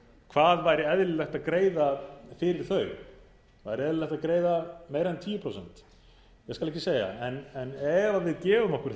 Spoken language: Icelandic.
hvað væri eðlilegt að greiða fyrir þau væri eðlilegt að greiða meira en tíu prósent ég skal ekki segja en ef að við gefum okkur